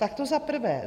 Tak to za prvé.